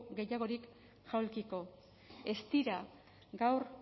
gehiagorik jaulkiko ez dira gaur